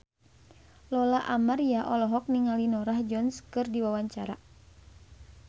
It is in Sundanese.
Lola Amaria olohok ningali Norah Jones keur diwawancara